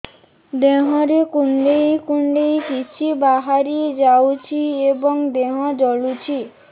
ଦେହରେ କୁଣ୍ଡେଇ କୁଣ୍ଡେଇ କିଛି ବାହାରି ଯାଉଛି ଏବଂ ଦେହ ଜଳୁଛି